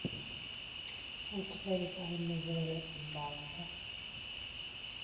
Heldur fleiri dæmi voru um afbragð.